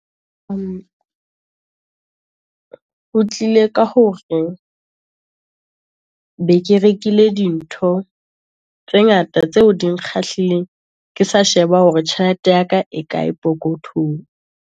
O tlile ka hore be ke rekile dintho, tse ngata tseo di nkgahliseng. Ke sa sheba hore tjhelete ya ka, e kae pokothong.